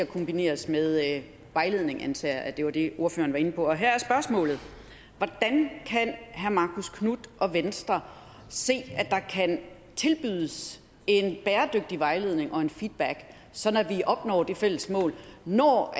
kombineres med vejledning jeg antager at det var det ordføreren var inde på her er spørgsmålet hvordan kan herre marcus knuth og venstre se at der kan tilbydes en bæredygtig vejledning og en feedback sådan at vi opnår det fælles mål når